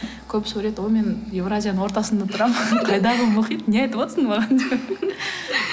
көбісі ойлайды о мен еуразияның ортасында тұрамын қайдағы мұхит не айтып отырсың маған деп